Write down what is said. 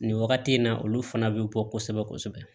Nin wagati in na olu fana bɛ bɔ kosɛbɛ kosɛbɛ